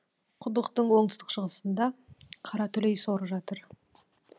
құдықтың оңтүстік шығысында қаратүлей соры жатыр